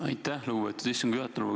Aitäh, lugupeetud istungi juhataja!